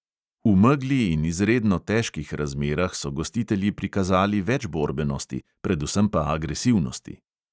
V megli in izredno težkih razmerah so gostitelji prikazali več borbenosti, predvsem pa agresivnosti.